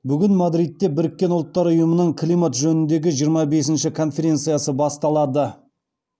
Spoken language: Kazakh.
бүгін мадридте біріккен ұлттар ұйымының климат жөніндегі жиырма бесінші конференциясы басталады